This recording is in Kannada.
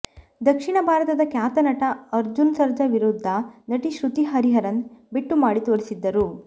ದಕ್ಷಿಣ ಭಾರತದ ಖ್ಯಾತ ನಟ ಅರ್ಜುನ್ ಸರ್ಜಾ ವಿರುದ್ಧ ನಟಿ ಶ್ರುತಿ ಹರಿಹರನ್ ಬೆಟ್ಟು ಮಾಡಿ ತೋರಿಸಿದ್ದರು